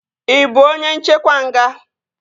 Ị bụ onye nchekwa nga?